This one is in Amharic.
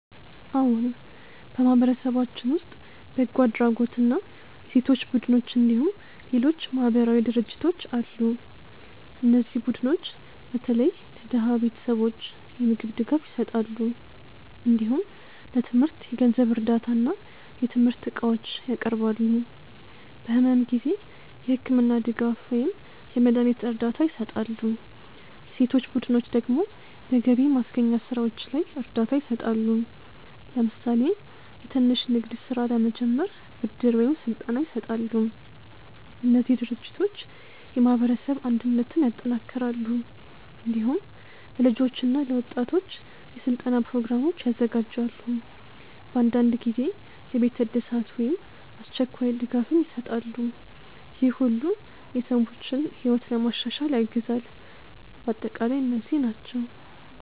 አዎን፣ በማህበረሰባችን ውስጥ በጎ አድራጎት እና የሴቶች ቡድኖች እንዲሁም ሌሎች ማህበራዊ ድርጅቶች አሉ። እነዚህ ቡድኖች በተለይ ለድሃ ቤተሰቦች የምግብ ድጋፍ ይሰጣሉ። እንዲሁም ለትምህርት የገንዘብ እርዳታ እና የትምህርት እቃዎች ያቀርባሉ። በሕመም ጊዜ የሕክምና ድጋፍ ወይም የመድሀኒት እርዳታ ይሰጣሉ። የሴቶች ቡድኖች ደግሞ በገቢ ማስገኛ ስራዎች ላይ እርዳታ ይሰጣሉ። ለምሳሌ የትንሽ ንግድ ስራ ለመጀመር ብድር ወይም ስልጠና ይሰጣሉ። እነዚህ ድርጅቶች የማህበረሰብ አንድነትን ያጠናክራሉ። እንዲሁም ለልጆች እና ለወጣቶች የስልጠና ፕሮግራሞች ያዘጋጃሉ። በአንዳንድ ጊዜ የቤት እድሳት ወይም አስቸኳይ ድጋፍም ይሰጣሉ። ይህ ሁሉ የሰዎችን ሕይወት ለማሻሻል ያግዛል። በአጠቃላይ እነዚህ ናቸው